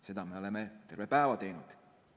Seda me oleme terve päeva teinud.